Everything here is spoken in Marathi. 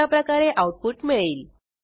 अशाप्रकारे आऊटपुट मिळेल